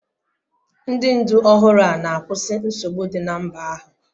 Ndị ndu ọhụrụ a na-akwụsị nsogbu dị na mba ahụ.